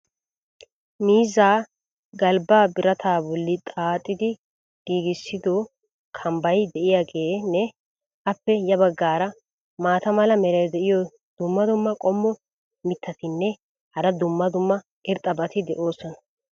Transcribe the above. miizzaa galbbaa birataa boli xaaxxidi giigissido kambbay diyaageenne appe ya bagaara maata mala meray diyo dumma dumma qommo mitattinne hara dumma dumma irxxabati de'oosona.